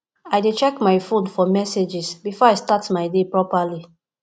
i dey check my phone for messages before i start my day properly